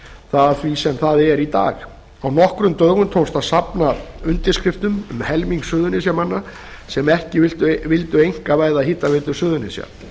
það að því sem það er í dag á nokkrum dögum tókst að safna undirskriftum um helmings suðurnesjamanna sem ekki vildu einkavæða hitaveitu suðurnesja